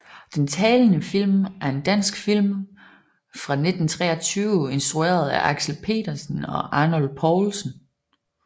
Den talende film er en dansk film fra 1923 instrueret af Axel Petersen og Arnold Poulsen